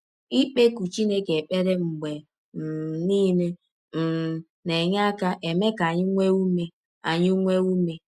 Ikpekụ Chineke ekpere mgbe um nile um na - enye aka eme ka anyị nwee ụme anyị nwee ụme.